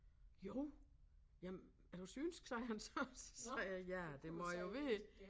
Jo jamen er du synsk sagde han så så sagde jeg ja det må jeg jo være